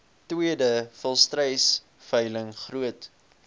tweede volstruisveiling groot